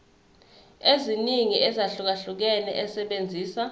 eziningi ezahlukahlukene esebenzisa